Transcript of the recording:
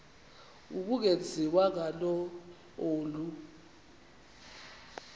ubungenziwa ngalo olu